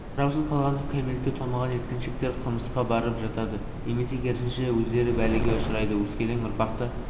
қараусыз қалған кәмелетке толмаған жеткіншектер қылмысқа барып жатады немесе керісінше өздері бәлеге ұшырайды өскелең ұрпақты